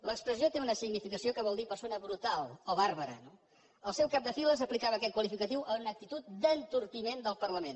l’expressió té una significació que vol dir persona brutal o bàrbara no el seu cap de files aplicava aquest qualificatiu a una actitud d’entorpiment del parlament